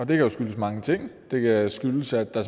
kan jo skyldes mange ting det kan skyldes at der